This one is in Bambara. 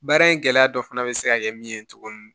Baara in gɛlɛya dɔ fana bɛ se ka kɛ min ye tuguni